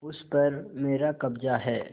उस पर मेरा कब्जा है